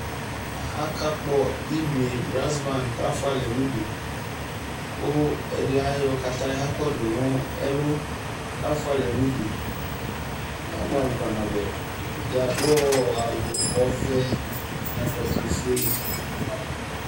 Akakpɔ ilʋie brazinaŋdɩ kʋ afualɛ nʋ udu, kʋ ɛdɩ ayɔ kataya kɔdʋ nʋ ɛlʋ, kʋ afualɛ nʋ udu Abʋɛ amʋ kpanabʋɛ Ɛdɩ adu awu ɔvɛ nʋ ɛkɔtɔ ofue